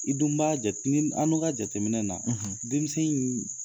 I dun b'a jate an dun ka jateminɛ na denmisɛn in